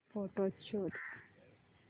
photos शोध